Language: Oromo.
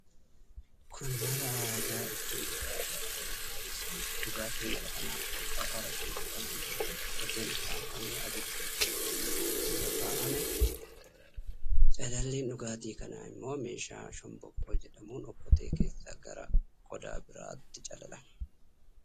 Kun mala aadaa ittiin dhugaatii alkoolii qopheessaniidha. Dhugaatiin mala kanaan qophaa'u araqee jedhamuun beekama. Okkoteen ukkaamfamee abidda irra kaa'amee, calalliin dhugaatii kanaa immoo meeshaa shomboqqoo jedhamuun okkotee keessaa gara qodaa biraatti calalamaa jira.